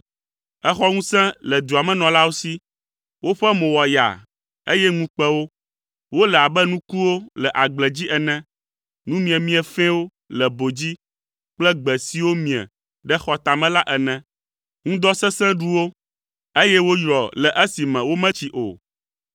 Èxɔ ŋusẽ le dua me nɔlawo si. Woƒe mo wɔ yaa, eye ŋu kpe wo. Wole abe nukuwo le agble dzi ene, nu miemie fɛ̃wo le bo dzi kple gbe siwo mie ɖe xɔ tame la ene. Ŋdɔ sesẽ ɖu wo, eye woyrɔ le esime wometsi o.